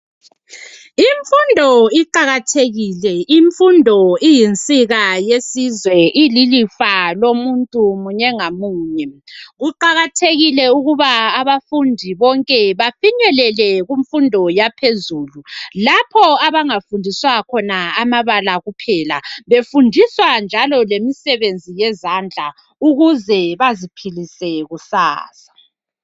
Imfundo iqakathekile imfundo iyinsiba yesizwe iyilifa lomuntu munye ngamunye kuqakathekile ukuba abafundi bonke bafinyelele kumfundo yaphezulu lapho abangafundiswa khona amabala kuphela befundiswa njalo lemisebenzi yezandla ukuze baziphilise kusasa.